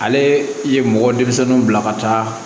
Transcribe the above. Ale ye mɔgɔ denmisɛnninw bila ka taa